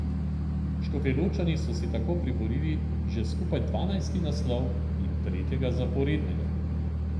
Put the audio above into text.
Škofjeločani so si tako priborili že skupaj dvanajsti naslov in tretjega zaporednega.